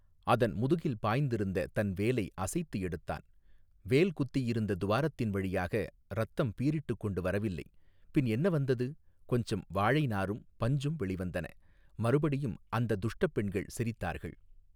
அதன் முதுகில் பாய்ந்திருந்த தன் வேலை அசைத்து எடுத்தான் வேல் குத்தியிருந்த துவாரத்தின் வழியாக இரத்தம் பீறிட்டுக் கொண்டு வரவில்லை பின் என்ன வந்தது கொஞ்சம் வாழைநாரும் பஞ்சும் வெளிவந்தன மறுபடியும் அந்தத் துஷ்டப் பெண்கள் சிரித்தார்கள்.